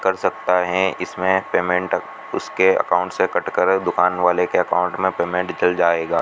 कर सकता हैं इसमें पेमेंट उसके अकाउंट से कट कर दुकान वाले के अकाउंट में पेमेंट जल जाएगा --